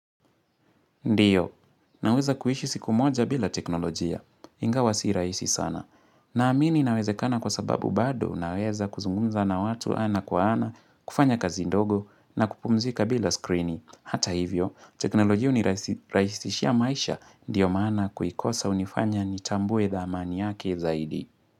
Ndio, naweza kuishi siku moja bila teknolojia, inga wasi raisi sana. Naamini inawezekana kwa sababu bado naweza kuzungunza na watu ana kwa ana, kufanya kazi ndogo na kupumzika bila skrini. Hata hivyo, teknolojia uniraisirahisishia maisha, ndio maana kuikosa unifanya nitambue dhamani yake zaidi.